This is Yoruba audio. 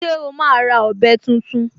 Ṣé o máa ra ọ̀bẹ tuntun?